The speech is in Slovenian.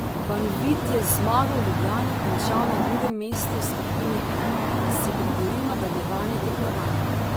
Banvit je z zmago v Ljubljani končal na drugem mestu v skupini M in si priboril nadaljevanje tekmovanja.